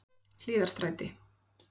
Hlíðarstræti